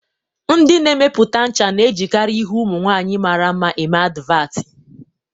Ndi na-emepụta ncha na-ejikarị ihu ụmụ nwaanyị mara mma eme advatị